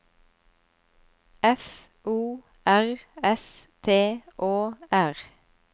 F O R S T Å R